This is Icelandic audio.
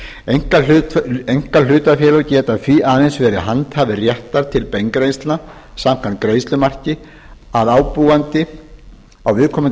heildargreiðslumarki einkahlutafélag getur því aðeins verið handhafi réttar til beingreiðslna samkvæmt greiðslumarki að ábúandi á viðkomandi